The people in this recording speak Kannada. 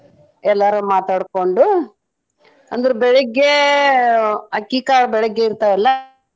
ಎಲ್ಲಾರು ಮಾತಾಡ್ಕೊಂಡು ಅಂದ್ರ ಬೆಳಗ್ಗೆ ಅಕ್ಕಿ ಕಾಳ ಬೆಳಗ್ಗೆ ಇರ್ತಾವಲ್ಲ.